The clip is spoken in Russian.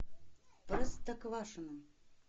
простоквашино